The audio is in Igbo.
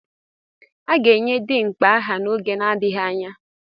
A ga-enye Dimkpa aha n'oge adịghị anya.